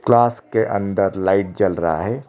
Class के अंदर light जल रहा है।